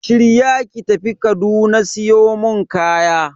Shirya ki tafi Kaduna siyo mun kaya.